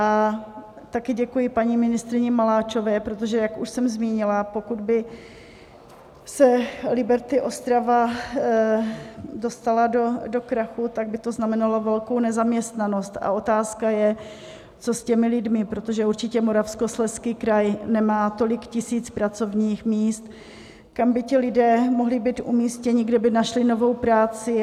A také děkuji paní ministryni Maláčové, protože jak už jsem zmínila, pokud by se Liberty Ostrava dostala do krachu, tak by to znamenalo velkou nezaměstnanost a otázka je, co s těmi lidmi, protože určitě Moravskoslezský kraj nemá tolik tisíc pracovních míst, kam by ti lidé mohli být umístěni, kde by našli novou práci.